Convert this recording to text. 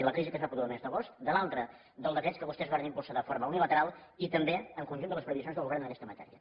de la crisi que es va produir el mes d’agost de l’altra dels decrets que vostès varen impulsar de forma unilateral i també el conjunt de les previsions del govern en aquesta matèria